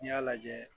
N'i y'a lajɛ